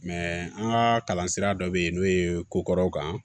an ka kalan sira dɔ bɛ yen n'o ye ko kɔrɔw kan